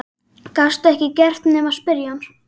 Gastu ekkert gert nema spyrja hann?